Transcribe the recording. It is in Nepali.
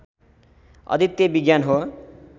अद्वितीय विज्ञान हो